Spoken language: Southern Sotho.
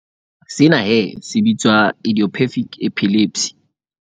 Sena he se bitswa idiopathic epilepsy.